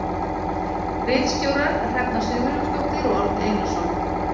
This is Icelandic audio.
Ritstjórar Hrefna Sigurjónsdóttir og Árni Einarsson.